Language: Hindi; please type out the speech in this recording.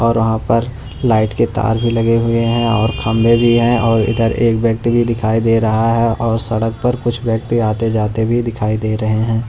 और वहां पर लाइट के तार भी लगे हुए हैं और खंबे भी हैं और इधर एक व्यक्ति भी दिखाई दे रहा है और सड़क पर कुछ व्यक्ति आते जाते भी दिखाई दे रहे हैं।